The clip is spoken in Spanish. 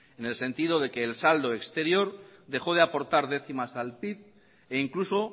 en el sentido de que el saldo exterior dejó de aportar décimas al pib e incluso